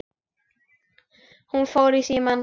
Hún fór í símann.